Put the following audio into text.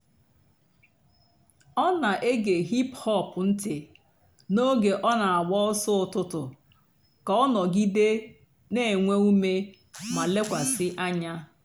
ọ́ nà-ège hìp-hòp ǹtị́ n'óge ọ́ nà-àgbà ọ̀sọ́ ụ́tụtụ́ kà ọ́ nọ̀gídé nà-ènwé úmé má lékwasị́ ànyá.